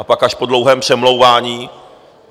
A pak až po dlouhém přemlouvání...